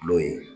Kulo ye